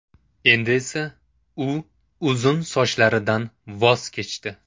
Endi esa u uzun sochlaridan voz kechdi.